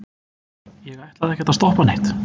ég ætlaði ekkert að stoppa neitt.